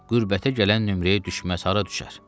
Qürbətə gələn nömrəyə düşməz hara düşər?